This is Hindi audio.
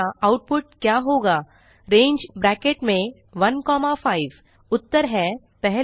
आउटपुट क्या होगा रंगे ब्रैकेट्स में 1 कॉमा 5 उत्तर हैं 1